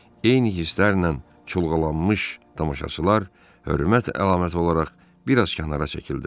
Eyni hisslərlə çulğalanmış tamaşaçılar hörmət əlaməti olaraq bir az kənara çəkildilər.